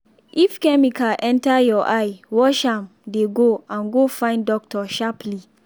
if chemical enter your eye wash am dey go and go find doctor sharply